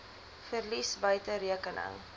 verlies buite rekening